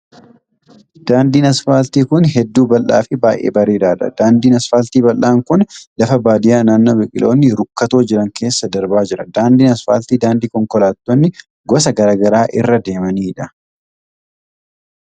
Daandiin asphaaltii kun hedduu bal'aa fi baay'ee bareedaa dha. Daandiin asfaalti bal'aan kun lafa baadiyaa naannoo biqiloonni rukkatoo jiran keessa darbaa jira. Daandiin asfaaltii daandii konkolaatonni gosa garaa garaa irra deemanii dha.